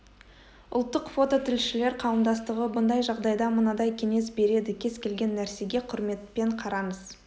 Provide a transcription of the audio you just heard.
ұлттық фото тілшілер қауымдастығы бұндай жағдайда мынадай кеңес береді кез келген нәрсеге құрметпен қараңыз